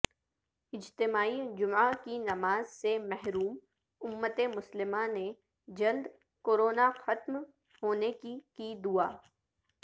اجتماعی جمعہ کی نماز سے محروم امت مسلمہ نے جلدکوروناختم ہونے کی کی دعائ